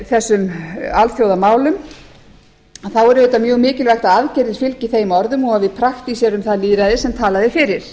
þessum alþjóðamálum að þá er auðvitað mjög mikilvægt að aðgerðir fylgi þeim orðum og að við praktíserum það lýðræði sem talað er fyrir